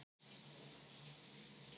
sagði hún andstutt.